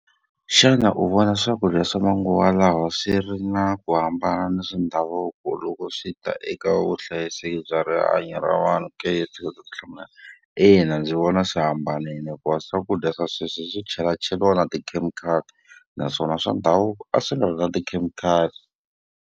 Xana u vona swakudya swa manguva lawa swi ri na ku hambana ni swa ndhavuko loko swi ta eka vuhlayiseki bya rihanyo ra vanhu ke, ndzi kota ku hlamula ina ndzi vona swi hambanile hikuva swakudya swa sweswi swi chelacheliwa na tikhemikhali, naswona swa ndhavuko a swi nga ri na tikhemikhali.